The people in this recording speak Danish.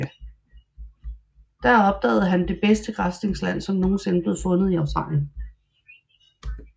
Der opdagede han det bedste græsningsland som nogen sinde blev fundet i Australien